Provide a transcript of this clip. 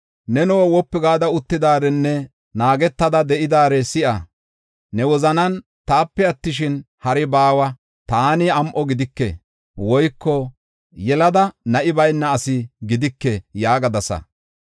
“Neno wopu gada uttidaarenne naagetada de7idaare si7a. Ne wozanan, ‘Taape attishin, hari baawa; taani am7o gidike; woyko yelada na7i bayna asi gidike’ yaagadasa.